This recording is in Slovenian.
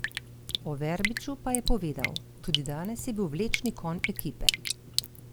O Verbiču pa je povedal: "Tudi danes je bil vlečni konj ekipe.